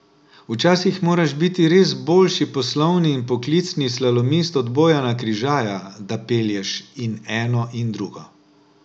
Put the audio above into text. Včasih moraš biti res boljši poslovni in poklicni slalomist od Bojana Križaja, da pelješ in eno in drugo.